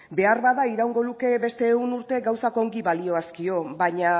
beharbada iraungo luke beste ehun urte gauzak ongi balihoazkio baina